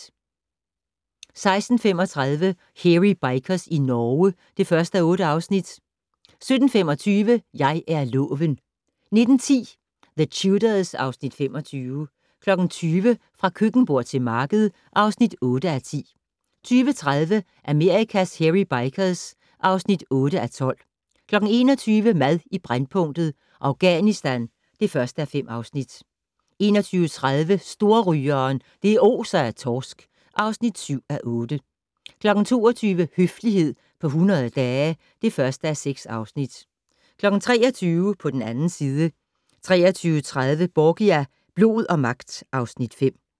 16:35: Hairy Bikers i Norge (1:8) 17:25: Jeg er loven 19:10: The Tudors (Afs. 25) 20:00: Fra køkkenbord til marked (8:10) 20:30: Amerikas Hairy Bikers (8:12) 21:00: Mad i brændpunktet: Afghanistan (1:5) 21:30: Storrygeren - det oser af torsk (7:8) 22:00: Høflighed på 100 dage (1:6) 23:00: På den 2. side 23:30: Borgia - blod og magt (Afs. 5)